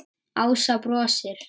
Ása brosir.